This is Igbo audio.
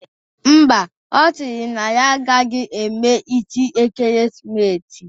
Ḿbà, ọ sịrị na ya agaghị eme isi ekeresimesi